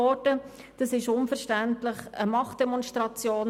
Dies ist unverständlich und eine Machtdemonstration.